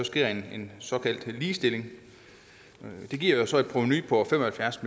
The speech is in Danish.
sker en såkaldt ligestilling det giver så et provenu på fem og halvfjerds